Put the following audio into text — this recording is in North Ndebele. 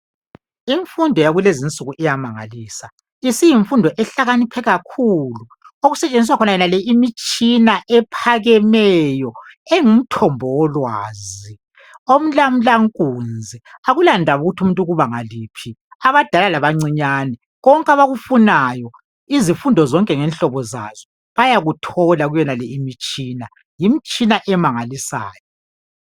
imfundo yakulezinsuku iyamangalisa isiyimfundo ehalakaniphe kakhulu okusetshenziswa khona yonale imitshina ephakemeyo engumthombo wolwazi omlamulankunzi akulandaba ukuthi umuntu ukubanga liphi abadala labancinyane konke abakufunayo izifundo zonke ngenhlobo zazo ziyakuthola kuyonale imitshina yimitshina emangalisayo